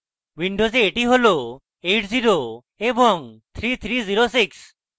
windows এ এটি হল 80 এবং 3306